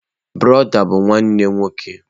Brọdá bụ nwanne nwoke.